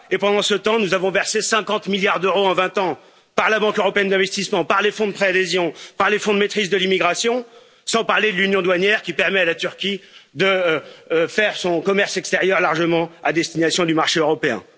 Pendant ce temps, nous avons versé 50 milliards d'euros en 20 ans, par la Banque européenne d'investissement, par les fonds de préadhésion, par les fonds de maîtrise de l'immigration, sans parler de l'union douanière, qui permet à la Turquie de faire son commerce extérieur largement à destination du marché européen.